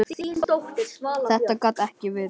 Þetta gat ekki verið.